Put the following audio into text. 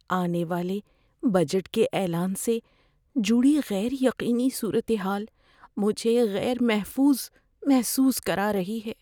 آنے والے بجٹ کے اعلان سے جڑی غیر یقینی صورتحال مجھے غیر محفوظ محسوس کرا رہی ہے۔